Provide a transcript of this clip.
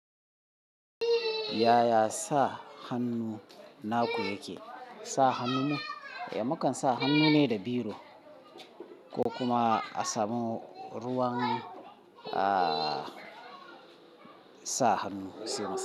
Yaya sa hannu naku yake? Sa hannun mu. Eh, mukan sa hannu ne da biro ko kuma a samu ruwan, ah, sa hannu sai mu sa.